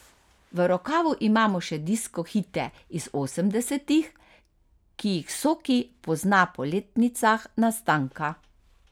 V rokavu imamo še disko hite iz osemdesetih, ki jih Soki pozna po letnicah nastanka.